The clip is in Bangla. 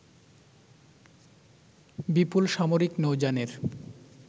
বিপুল সামরিক নৌযানের